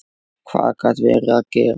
Hvað gat verið að gerast?